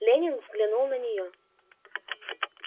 лэннинг взглянул на неё